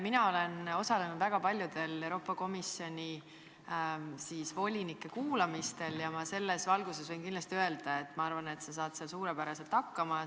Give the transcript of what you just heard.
Mina olen osalenud väga paljudel Euroopa Komisjoni volinike kuulamistel ja selles valguses võin öelda, et ma olen kindel, et sa saad seal suurepäraselt hakkama.